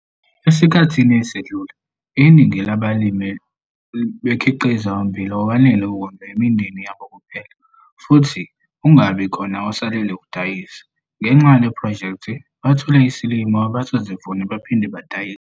Esikhathini esedlule, iningi lala balimi belikhiqiza ummbila owanele ukondla imindeni yabo kuphela futhi ungabi khona osalela ukudaiyisa. Ngenxa yale phrojekthi bathole isilimo abazosivuna baphinde badayise.